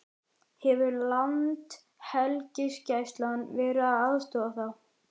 Hefur Landhelgisgæslan verið að aðstoða þá?